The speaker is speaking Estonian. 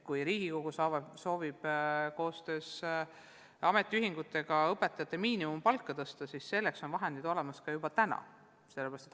Kui Riigikogu soovib koostöös ametiühingutega õpetajate miinimumpalka tõsta, siis selleks on vahendid olemas ka praegu.